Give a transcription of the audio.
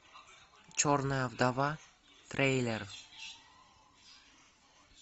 черная вдова трейлер